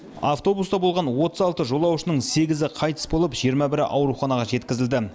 автобуста болған отыз алты жолаушының сегізі қайтыс болып жиырма бірі ауруханаға жеткізілді